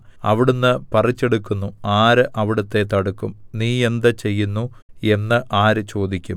അവിടുന്ന് പറിച്ചെടുക്കുന്നു ആര് അവിടുത്തെ തടുക്കും നീ എന്ത് ചെയ്യുന്നു എന്ന് ആര് ചോദിക്കും